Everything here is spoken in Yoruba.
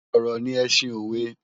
Òrò ni èsin ówè